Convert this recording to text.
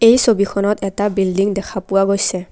এই ছবিখনত এটা বিল্ডিং দেখা পোৱা গৈছে।